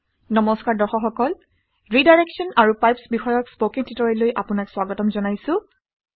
নমস্কাৰ দৰ্শক সকল ৰিডাইৰেক্সন আৰু পাইপছ বিষয়ক স্পকেন টিউটৰিয়েললৈ আপোনাক স্বাগতম জনাইছোঁ